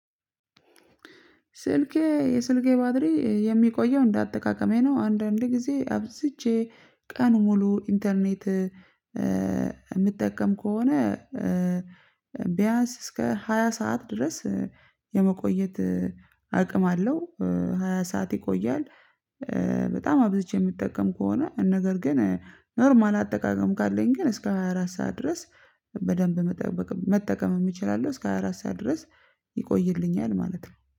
ስልኬ የስልኬ ባትሪ የሚቆየው እንደ አጠቀቀሜ ነው አንድአንድ ጊዜ አብዝቼ ቀን ሙሉ ኢንተርኔት የሚጠቀም ከሆነ ቢያንስ እስከ ሃያ ስዓት ድረስ የመቆየት አቅም አለሁ ሃያ ሰዓት ይቆያል። በጠም አብዝጄ የምጠቀም ከሆነ ነገር ግን ኖርማል አጠቃቀም ካለኝ ግን እስከ ሃያ አራት ስዓት ድረስ በደንብ መጠቀምም እችላለሁ እስከ ሃያ አራት ስዓት ድረስ ይቆይልኛል ማለት ነው